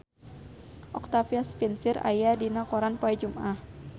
Octavia Spencer aya dina koran poe Jumaah